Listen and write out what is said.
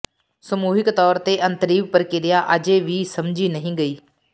ਸਮੂਹਿਕ ਤੌਰ ਤੇ ਅੰਤਰੀਵ ਪ੍ਰਕਿਰਿਆ ਅਜੇ ਵੀ ਸਮਝੀ ਨਹੀਂ ਗਈ